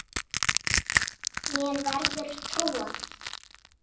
Mér verður trúað.